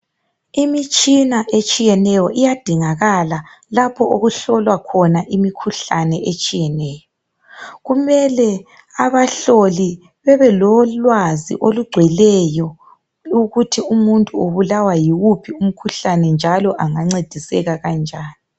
Imitshina etshiyeneyo iyadingakala lapho okuhlolwa khona imikhuhlane etshiyeneyo. Kumele abahloli bebelolwazi olugcweleyo ukuthi umuntu ubulawa yiwuphi umkhuhlane njalo angancediseka kanjani.